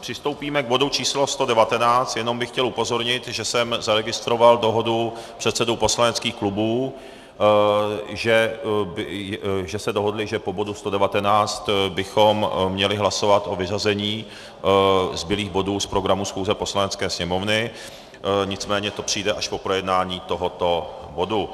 přistoupíme k bodu číslo 119, jenom bych chtěl upozornit, že jsem zaregistroval dohodu předsedů poslaneckých klubů, že se dohodli, že po bodu 119 bychom měli hlasovat o vyřazení zbylých bodů z programu schůze Poslanecké sněmovny, nicméně to přijde až po projednání tohoto bodu.